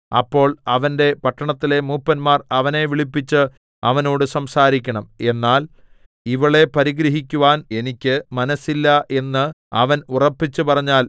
അപ്പോൾ അവന്റെ പട്ടണത്തിലെ മൂപ്പന്മാർ അവനെ വിളിപ്പിച്ച് അവനോട് സംസാരിക്കണം എന്നാൽ ഇവളെ പരിഗ്രഹിക്കുവാൻ എനിക്ക് മനസ്സില്ല എന്ന് അവൻ ഉറപ്പിച്ചു പറഞ്ഞാൽ